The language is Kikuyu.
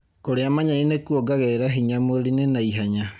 Kũria manyeni nĩkuongagirira hinya mwĩrĩini na ihenya